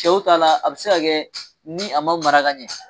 Cɛw ta la a bɛ se ka kɛ ni a ma mara ka ɲɛ